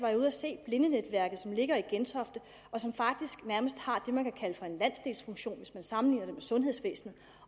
jeg ude at se blindenetværket som ligger i gentofte og som faktisk nærmest har det man kan kalde for en landsdelsfunktion hvis man sammenligner det med sundhedsvæsenet